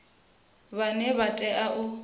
vhane vha o tea u